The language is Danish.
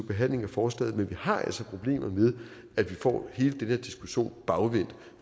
behandlingen af forslaget men vi har altså problemet med at vi får hele den her diskussion bagvendt